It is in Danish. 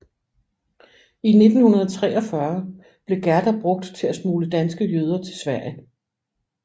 I 1943 blev Gerda brugt til at smugle danske jøder til Sverige